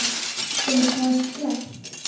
Er það slæmt?